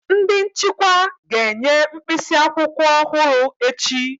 Ndị nchịkwa ga-enye mkpịsị akwụkwọ ọhụrụ echi